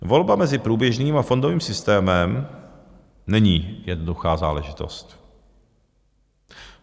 Volba mezi průběžným a fondovým systémem není jednoduchá záležitost.